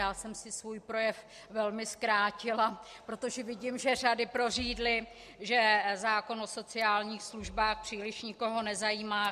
Já jsem si svůj projev velmi zkrátila, protože vidím, že řady prořídly, že zákon o sociálních službách příliš nikoho nezajímá.